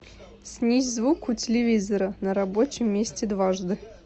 снизь звук у телевизора на рабочем месте дважды